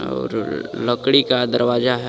और लकड़ी का दरवाजा है.